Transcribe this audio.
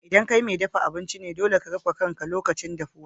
ldan kai mai dafan abinci ne, dolle ka rufe kan ka lokacin dafuwa.